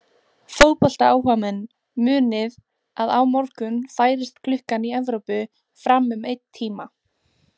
Fótboltaáhugamenn munið að á morgun færist klukkan í Evrópu fram um einn tíma.